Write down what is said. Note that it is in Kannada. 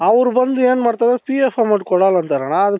ಅವ್ರು ಬಂದು ಏನ್ ಮಾಡ್ತಾರೆP.F amount ಕೊಡಲ್ಲ ಅಂತಾರಣ್ಣ.